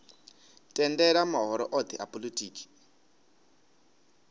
tendela mahoro othe a polotiki